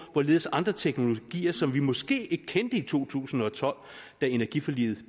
hvorledes andre teknologier som vi måske ikke kendte i to tusind og tolv da energiforliget